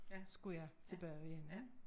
Skulle jeg tilbage igen